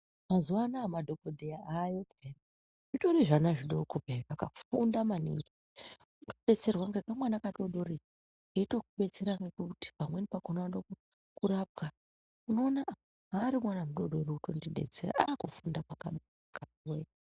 Mazuva ano aya madhokodheya avayo pee zvitori zvana zvidoko peya zvakafunda manhingi. Unotodetserwa ngekamwana kadoredore keyitokudetsera ngekuti pamweni pakona unoda kurapwa, unoona aah zvaari mwana mudoredore uri kundondidetsera. Aaah kufunda kwakanaka vantuwee.